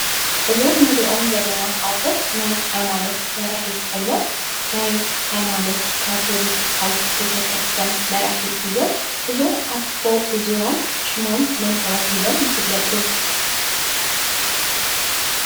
እዞም እንሪኦም ዘለና ኣቦ ናይ ሃይማኖት መራሒ ኮይኖም ናይ ሃይማኖት ካቶሊካዊት ቤተክርስትያን መራሒ እዮም ። እዞም ኣቦ እዚኦም ሽሞም መን ተባሂሎም ይፍለጡ ?